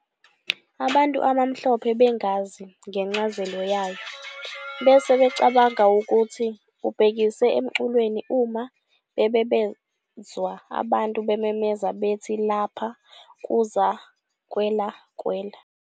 Abantu abamhlophe, bengazi ngencazelo yayo, bese becabanga ukuthi ubhekise emculweni uma bebezwa abantu bememeza bethi "Lapha kuza kwela, kwela!"